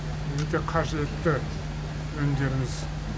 өте қажетті өнімдеріңіз